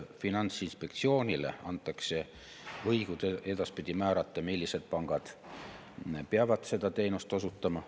Finantsinspektsioonile antakse õigus edaspidi määrata, millised pangad peavad seda teenust osutama.